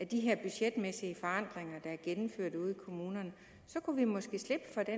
de her budgetmæssige forandringer der er gennemført ude i kommunerne så kunne vi måske slippe for det